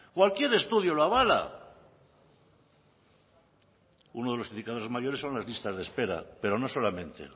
o aquí el estudio lo avala uno de los indicadores mayores son las listas de espera pero no solamente